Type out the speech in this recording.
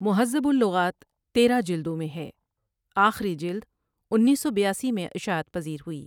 مہذب اللغات تیرہ جلدوں میں ہے آخری جلد انیس سو بیاسی میں اشاعت پزیر ہوئی ۔